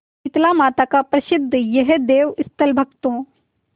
शीतलामाता का प्रसिद्ध यह देवस्थल भक्तों